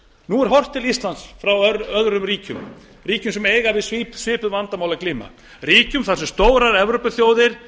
nú er horft til íslands frá öðrum ríkjum ríkjum sem eiga við svipuð vandamál að glíma ríkum þar sem stórar evrópuþjóðir